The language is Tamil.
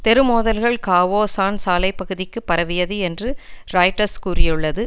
தெரு மோதல்கள் காவோ சான் சாலை பகுதிக்கும் பரவியது என்று ராய்ட்டர்ஸ் கூறியுள்ளது